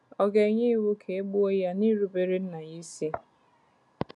Ọ̀ ga-enye iwu ka e gbuo ya n’irubere nna ya isi?